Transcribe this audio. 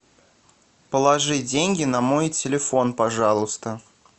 положи деньги на мой телефон пожалуйста